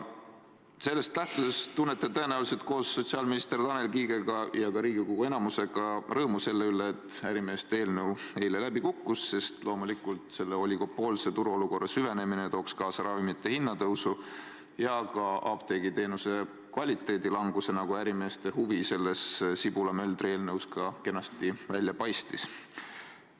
Sellest lähtudes tunnete tõenäoliselt koos sotsiaalminister Tanel Kiigega ja Riigikogu enamusega rõõmu selle üle, et ärimeeste eelnõu eile läbi kukkus, sest loomulikult, oligopoolse turuolukorra süvenemine tooks kaasa ravimite hinna tõusu ja ka apteegiteenuse kvaliteedi halvenemise, nagu ärimeeste huvina sellest Sibula-Möldri eelnõust ka kenasti välja paistis.